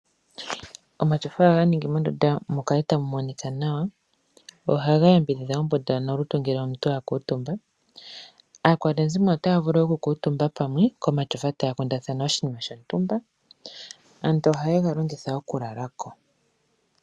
Omatyofa ohaga ningi mondunda mu kale tamu monika nawa ohaga yambidhidha ombunda ngele omuntu a kuutumba. Aakwanezimo otaya vulu okukuutumba pamwe komashofa taya kundathana oshinima shontumba. Aantu ohaye ga longitha wo okulala ko.